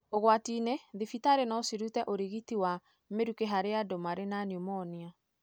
ũgwatinĩ thibitarĩ nocirute ũrigiti wa mĩruke harĩ andũ marĩ na pneumonia.